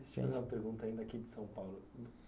Deixa eu fazer uma pergunta aqui de São Paulo.